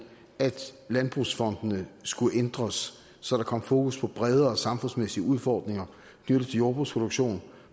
at landbrugsfondene skulle ændres så der kom fokus på bredere samfundsmæssige udfordringer det vil sige jordbrugsproduktion